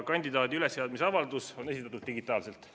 Kandidaadi ülesseadmise avaldus on esitatud digitaalselt.